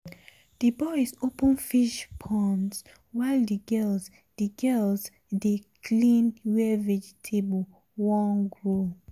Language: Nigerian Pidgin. the boys open fish ponds while the girls the girls dey clean where vegetable won grow.